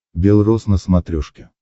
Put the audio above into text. бел рос на смотрешке